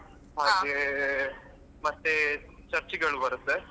ಹಾಗೇ ಮತ್ತೆ Church ಗಳು ಬರುತ್ತೆ.